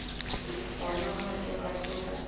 gona ga ke rate go